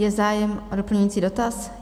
Je zájem o doplňující dotaz?